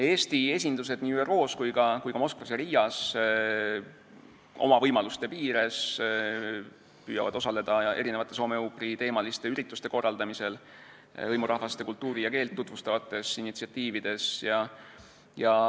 Eesti esindused nii ÜRO-s kui ka Moskvas ja Riias püüavad oma võimaluste piires osaleda soome-ugri teemal ürituste korraldamisel ning hõimurahvaste kultuuri ja keelt tutvustavates initsiatiivides.